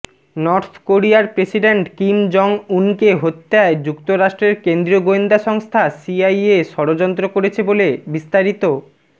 north কোরিয়ার president Kim Jong উনকে হত্যায় যুক্তরাষ্ট্রের কেন্দ্রীয় গোয়েন্দা সংস্থা সিআইএ ষড়যন্ত্র করছে বলেবিস্তারিত